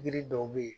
Yiri dɔw be ye